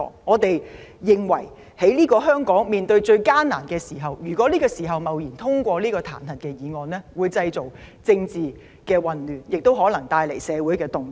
我們認為在當前香港最艱難的時刻，貿然通過這項彈劾議案會製造政治混亂，亦可能帶來社會動盪。